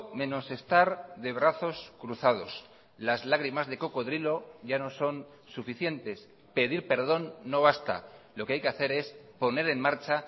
menos estar de brazos cruzados las lágrimas de cocodrilo ya no son suficientes pedir perdón no basta lo que hay que hacer es poner en marcha